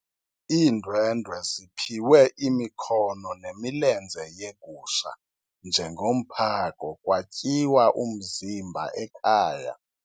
Iindwendwe ziphiwe imikhono nemilenze yegusha njengomphako kwatyiwa umzimba ekhaya.